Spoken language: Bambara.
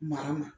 Mara ma